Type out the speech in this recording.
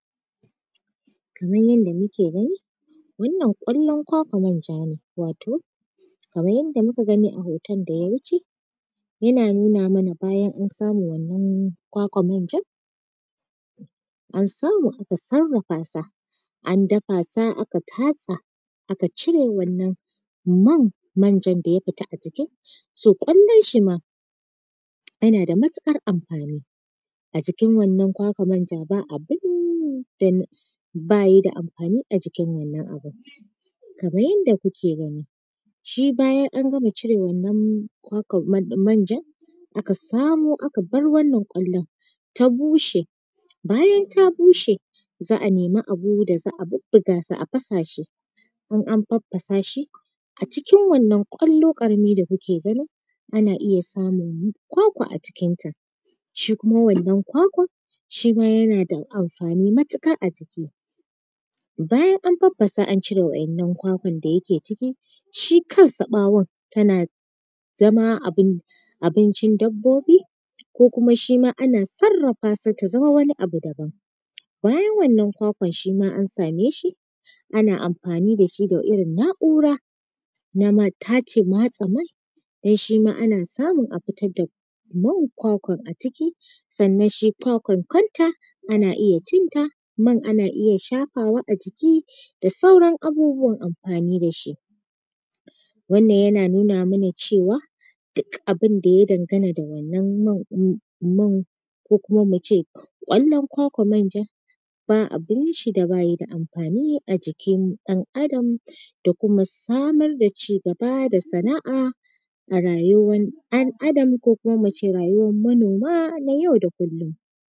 Kamar yadda muke gani, wannan ƙwallon kwakwar manja ne wato kamar yadda muka gani a hoton da ya wuce yana nuna mana bayan an samu wannan kwakwar manja, an samu aka sarrafa sa, an dafa ta aka tatsa aka cire wannan man manjar da ya fita a jiki. So ƙwallon shi ma yana da matuƙar amfani a jikin wannan kwakwar manjar ba abin da bayi da amfani a jikin wannan abun. Kamar yadda kuke gani shi bayan an gama cire wannan kwakwar manja aka samo aka bar wannan ƙwallon ta bushe. Bayan ta bushe za a nemi abu da za a bubbuga ta a fasa shi, in an faffasashi a cikin wannan ƙwallo ƙarami da kuke gani ana iya samun kwakwa a cikin ta, shi kuma wannan kwakwa shima yana da amfani matuƙa a jiki. Bayan an faffasa an cire waɗannan kwakwan da yake ciki shi kansa ɓawon tana zama abin abincin dabbobi ko kuma shi ma ana sarrafa sa ta zama wani abu daban. Bayan wannan kwakwar shima an same shi ana amfani da shi da irin na’ura na ma tace matse mai don shima ana samun a fitar da man kwakwar a ciki. Sannan shi kwakwar kanta ana iya cin ta man ana iya shafawa a jiki da sauran abubuwan amfani da shi. Wannnan yana nuna mana cewa duk abin da ya dangana da wannan man ko kuma mu ce ƙwallon kwakwar manja ba abin shi da bayi da amfani a jikin ɗan adam da kuma samar da ci gaba da sana’a a rayuwar ɗan'adam ko kuma mu ce rayuwar manoma na yau da kullum,